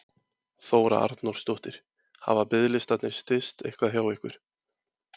Þóra Arnórsdóttir: Hafa biðlistarnir styst eitthvað hjá ykkur?